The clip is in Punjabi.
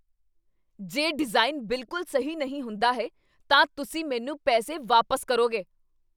ਜੇ ਡਿਜ਼ਾਈਨ ਬਿਲਕੁਲ ਸਹੀ ਨਹੀਂ ਹੁੰਦਾ ਹੈ, ਤਾਂ ਤੁਸੀਂ ਮੈਨੂੰ ਪੈਸੇ ਵਾਪਸ ਕਰੋਗੇ।